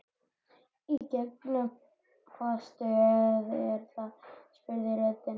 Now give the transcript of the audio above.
Í gegnum hvaða stöð er það? spurði röddin.